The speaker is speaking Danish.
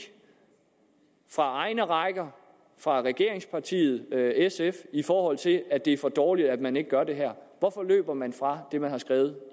fra egne rækker fra regeringspartiet sf i forhold til at det er for dårligt at man ikke gør det her hvorfor løber man fra det man har skrevet